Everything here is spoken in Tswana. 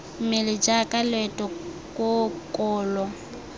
mmele jaaka leoto koo kolo